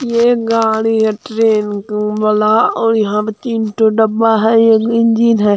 यह गाड़ी है ट्रेन औ वाला और यहाँ तीन ठो डब्बा है एक इंजन है।